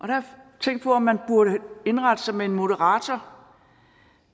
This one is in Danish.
jeg tænkt på om man burde indrette sig med en moderator